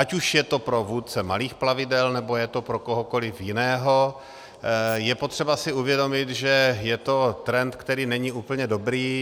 Ať už je to pro vůdce malých plavidel, nebo je to pro kohokoliv jiného, je potřeba si uvědomit, že je to trend, který není úplně dobrý.